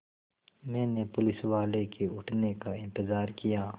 मैंने पुलिसवाले के उठने का इन्तज़ार किया